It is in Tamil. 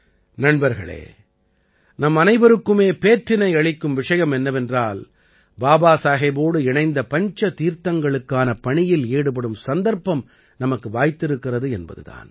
நண்பர்களே நம்மனைவருக்குமே பேற்றினை அளிக்கும் விஷயம் என்னவென்றால் பாபாசாஹேபோடு இணைந்த பஞ்ச தீர்த்தங்களுக்கான பணியில் ஈடுபடும் சந்தர்ப்பம் நமக்கு வாய்த்திருக்கிறது என்பது தான்